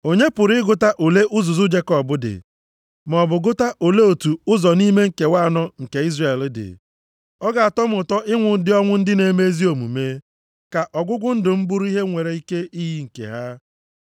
Onye pụrụ ịgụta ole uzuzu Jekọb dị? Maọbụ gụta ole otu ụzọ nʼime nkewa anọ nke Izrel dị. Ọ ga-atọ m ụtọ ịnwụ ụdị ọnwụ ndị na-eme ezi omume. Ka ọgwụgwụ ndụ m bụrụ ihe nwere ike iyi nke ha!”